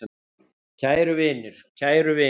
Kæru vinir, kæru vinir.